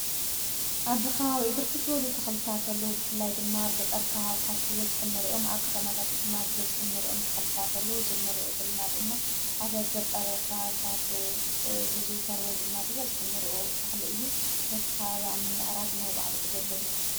ኣብ በቢ ከባቢኡ ብርክት ዝበሉ ተኽልታት ኣሎ ብፍላይ ድማ ኣብ ገጠር ከባብታት ብበዝሒ ንርኦም ኣብ ከታማታት ድማ ብበዝሒ እንርኦም ተኸልታት ኣሎ ዝንርእዮ ዘለና ድማ ኣብ ገጠር ከባብታት ዝዝውተር ወይ ድማ ብበዝሒ ንርእዮ ተኽሊ እዩ ነቲ አብ ምምዕራግ ናይባዕሉ ግደ ኣለዎ።